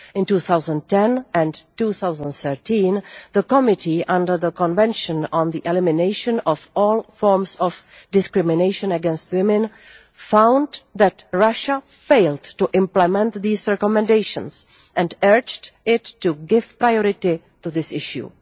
In 2010 and 2013, the Committee under the Convention on the Elimination of all Forms of Discrimination against Women found that Russia failed to implement these recommendations, and urged it to give priority to this issue.